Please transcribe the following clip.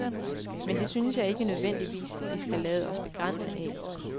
Men det synes jeg ikke nødvendigvis, vi skal lade os begrænse af.